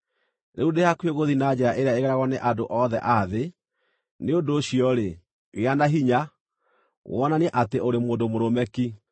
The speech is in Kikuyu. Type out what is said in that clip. “Rĩu ndĩ hakuhĩ gũthiĩ na njĩra ĩrĩa ĩgeragwo nĩ andũ othe a thĩ; nĩ ũndũ ũcio-rĩ, gĩa na hinya, wonanie atĩ ũrĩ mũndũ mũrũme ki,